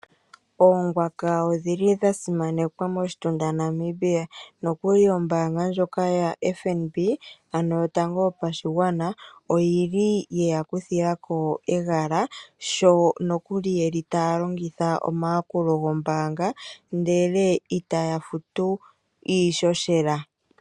Oongwaka odhi li dha simanekwa moshitunda Namibia noku li ombanga ndjoka yaFNB ano yotango yopashigwana oyi li yeya kuthilako egala sho noku li ye li taya longitha omayakulo gombanga ashike ita ya futu iishoshela.